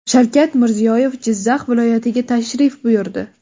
Shavkat Mirziyoyev Jizzax viloyatiga tashrif buyurdi.